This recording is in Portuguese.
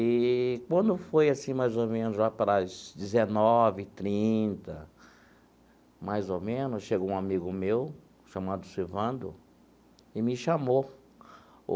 Eee, quando foi assim, mais ou menos, lá para as dezenove e trinta, mais ou menos, chegou um amigo meu, chamado Silvando, e me chamou.